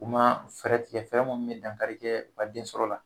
u U ma fɛɛrɛtigɛ fɛnrɛ mun be dankarike u ka den sɔrɔ la